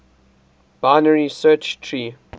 binary search tree